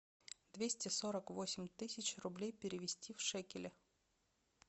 двести сорок восемь тысяч рублей перевести в шекели